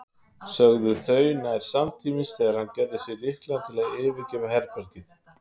sögðu þau nær samtímis þegar hann gerði sig líklegan til að yfirgefa herbergið.